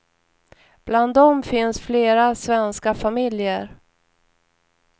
Bland dem finns flera svenska familjer.